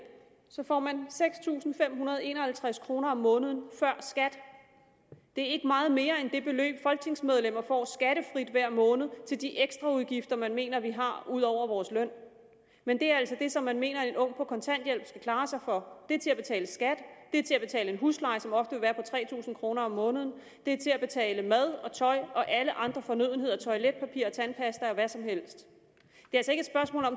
får man seks tusind fem hundrede og en og halvtreds kroner om måneden før skat det er ikke meget mere end det beløb folketingsmedlemmer får skattefrit hver måned til de ekstra udgifter man mener vi har ud over vores løn men det er altså det som man mener at en ung på kontanthjælp skal klare sig for det er til at betale skat det er til at betale en husleje som ofte vil være tre tusind kroner om måneden og det er til at betale mad og tøj og alle andre fornødenheder toiletpapir og tandpasta og hvad som helst